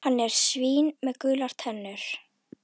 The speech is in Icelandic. Hann er svín með gular tennur.